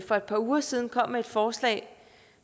for et par uger siden kom med et forslag